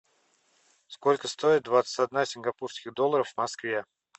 сколько стоит двадцать одна сингапурских долларов в москве